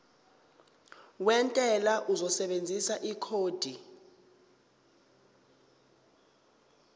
wentela uzosebenzisa ikhodi